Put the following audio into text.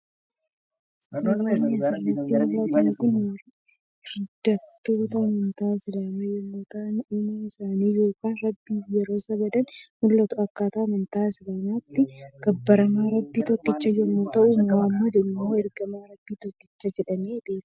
Namoonni asirratti mul'atan kun hirdoftoota amantaa Isiliimaa yommuu ta'an uumaa isaanii yookaan Rabbiif yeroo sagadan mul'atu. Akka amantaa Islaamaatti gabbaramaan Rabbii tokkicha yommuu ta'u Muhammad immoo ergamaa Rabbi tokkichaati jedhamee beekama.